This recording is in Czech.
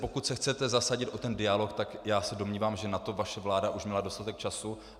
Pokud se chcete zasadit o ten dialog, tak já se domnívám, že na to vaše vláda už měla dostatek času.